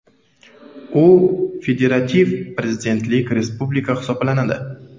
U federativ prezidentlik respublikasi hisoblanadi.